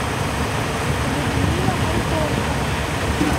людмила антонова